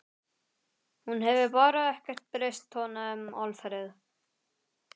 Hún hefur bara ekkert breyst tónaði Alfreð.